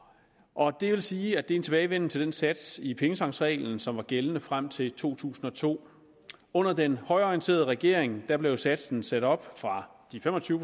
og det vil sige at det er en tilbagevenden til den sats i pengetanksreglen som var gældende frem til to tusind og to under den højreorienterede regering blev satsen sat op fra de fem og tyve